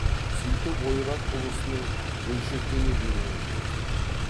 сөйтіп ойрат ұлысының бөлшектене беруін көздеді